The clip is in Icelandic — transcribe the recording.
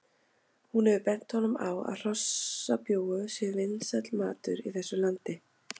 Hún hefur bent honum á að hrossabjúgu séu vinsæll matur í þessu landi